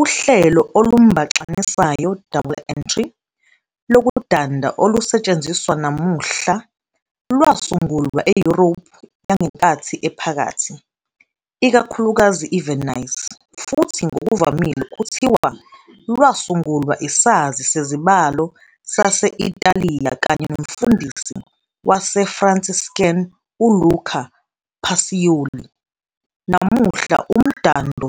Uhlelo olumbaxanisayo, double-entry, lokudanda olusetshenziswa namuhla lwasungulwa eYurophu yangenkathi ephakathi, ikakhulukazi IVenice, futhi ngokuvamile kuthiwa lwasungulwa isazi sezibalo sase-ITaliya kanye nomfundisi waseFranciscan ULuca Pacioli. Namuhla, umdando